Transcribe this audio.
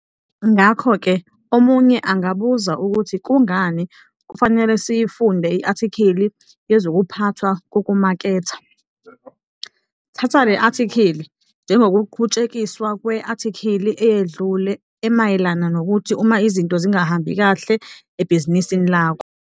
Ngakho-ke omunye angabuza ukuthi kungani kufanele siyifunde i-athikhili yezokuphathwa kokumaketha. Thatha le athikhili njengokuqhutshekiswa kwe-athikhili eyedlule emayelana nokuthi uma izinto zingahambi kahle ebhizinisini lakho.